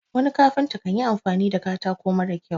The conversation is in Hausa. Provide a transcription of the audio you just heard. wani kafinta kan yi amfani da katako mara kyau